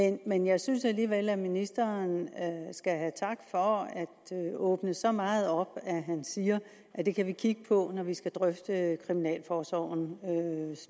ikke men jeg synes alligevel at ministeren skal have tak for at åbne så meget op at han siger at det kan vi kigge på når vi skal drøfte kriminalforsorgens